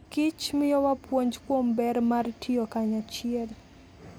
kich miyowa puonj kuom ber mar tiyo kanyachiel.